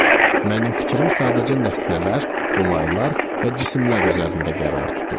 Mənim fikrim sadəcə nəsnələr, olaylar və cisimlər üzərində qərar tutur.